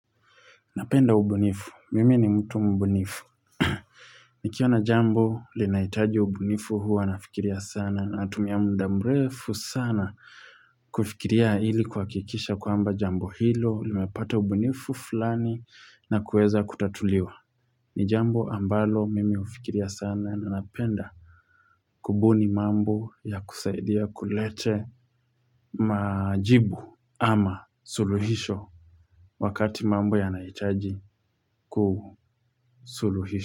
Napenda ubunifu. Mimi ni mtu mbunifu. Nikiona jambo, linaitaji ubunifu huwa nafikiria sana. Natumia mda mrefu sana kufikiria ili kwa kuhakikisha kwamba jambo hilo. Limepata ubunifu fulani na kueza kutatuliwa. Ni jambo ambalo mimi hufikiria sana na napenda kubuni mambo ya kusaidia kulete majibu ama suluhisho. Wakati mambo ya nahitaji kusuluhishwa.